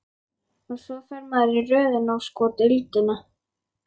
Og svo fer maður í röð inn á sko deildina.